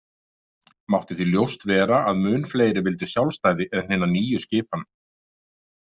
Mátti því ljóst vera að mun fleiri vildu sjálfstæði en hina nýju skipan.